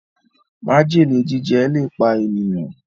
májèlé jíjẹ le pá ènìyàn